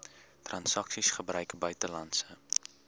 transaksies gebruik buitelandse